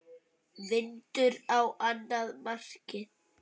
Vindur á annað markið.